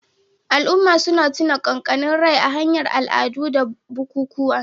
Al'umma suna tuna kakanni rai ta hanyar al'adu da bukukuwa.